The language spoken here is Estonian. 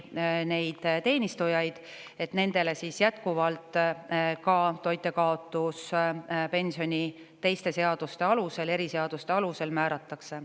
Nendele teenistujatele määratakse jätkuvalt toitjakaotuspensioni teiste seaduste, eriseaduste alusel.